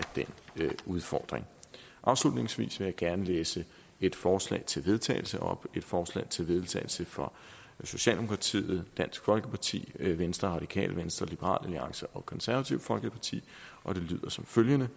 den udfordring afslutningsvis vil jeg gerne læse et forslag til vedtagelse op det et forslag til vedtagelse fra socialdemokratiet dansk folkeparti venstre radikale venstre liberal alliance og det konservative folkeparti og det lyder som følger